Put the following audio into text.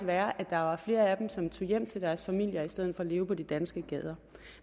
være at der var flere af dem som tog hjem til deres familier i stedet for at leve på de danske gader